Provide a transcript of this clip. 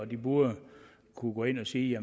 de burde kunne gå ind at sige